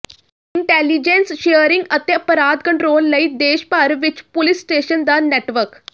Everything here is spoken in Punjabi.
ਇੰਟੈਲੀਜੈਂਸ ਸ਼ੇਅਰਿੰਗ ਅਤੇ ਅਪਰਾਧ ਕੰਟਰੋਲ ਲਈ ਦੇਸ਼ ਭਰ ਵਿੱਚ ਪੁਲਿਸ ਸਟੇਸ਼ਨ ਦਾ ਨੈਟਵਰਕ